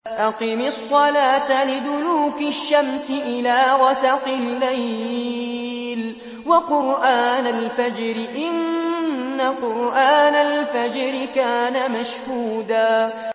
أَقِمِ الصَّلَاةَ لِدُلُوكِ الشَّمْسِ إِلَىٰ غَسَقِ اللَّيْلِ وَقُرْآنَ الْفَجْرِ ۖ إِنَّ قُرْآنَ الْفَجْرِ كَانَ مَشْهُودًا